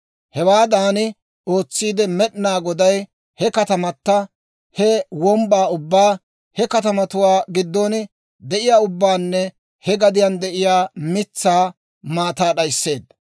Hewaadan ootsiide Med'ina Goday he katamata, he wombbaa ubbaa, he katamatuwaa giddon de'iyaa ubbaanne he gadiyaan de'iyaa mitsaa maataa d'aysseedda.